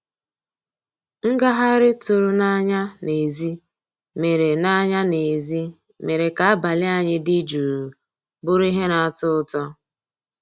Ngàghàrị́ tụ̀rụ̀ n'ànyá n'èzí mérè n'ànyá n'èzí mérè ká àbàlí ànyị́ dị́ jụ́ụ́ bụ́rụ́ íhé ná-àtọ́ ụtọ́.